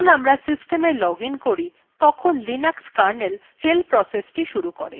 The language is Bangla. যখন আমরা system login করি তখন linux kernel shell process শুরু করে